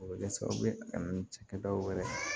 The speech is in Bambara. O bɛ kɛ sababu ye ka na ni cɛkɛdaw yɛrɛ ye